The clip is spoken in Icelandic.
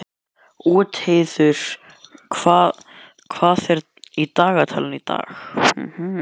Úlfheiður, hvað er í dagatalinu í dag?